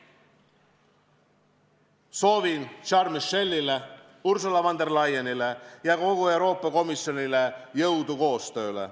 Soovin Charles Michelile, Ursula von der Leyenile ja kogu Euroopa Komisjonile jõudu koostööks.